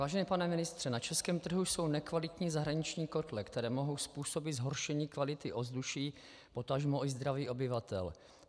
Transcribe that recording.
Vážený pane ministře, na české trhu jsou nekvalitní zahraniční kotle, které mohou způsobit zhoršení kvality ovzduší, potažmo i zdraví obyvatel.